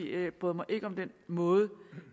jeg bryder mig ikke om den måde